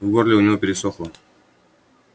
в горле у него пересохло